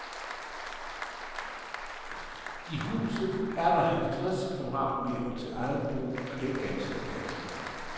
I huset er der halvtreds kvadratmeter til eget brug, og det er ganske passende.